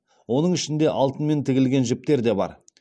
оның ішінде алтынмен тігілген жіптер де бар